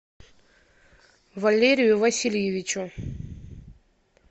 валерию васильевичу